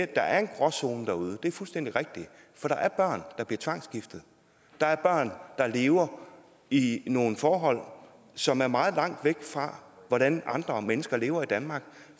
der er en gråzone derude det er fuldstændig rigtigt for der er børn der bliver tvangsgiftet der er børn der lever i nogle forhold som er meget langt væk fra hvordan andre mennesker lever i danmark